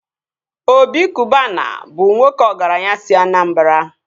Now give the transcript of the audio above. Obi Kụbana bụ nwoke ọgaranya si Anambara